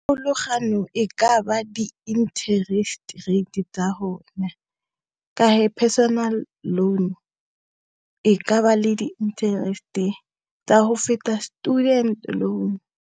Pharologano e ka ba di-interest rate tsa rona, ka personal loan e ka ba le di-interest-e tsa go feta student loan.